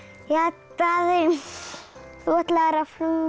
Daði þú ætlaðir að